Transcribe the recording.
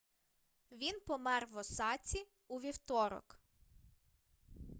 він помер в осаці у вівторок